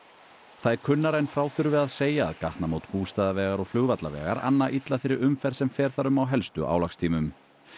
það er kunnara en frá þurfi að segja að gatnamót Bústaðavegar og anna illa þeirri umferð sem fer þar um á helstu álagstímum